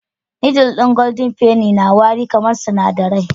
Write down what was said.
Noodle ɗin golden penny na wari kamar sinadarai